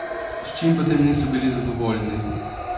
S čim potem niso bili zadovoljni?